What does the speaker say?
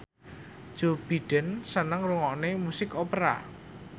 Joe Biden seneng ngrungokne musik opera